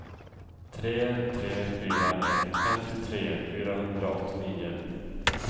tre tre fyra ett femtiotre fyrahundraåttionio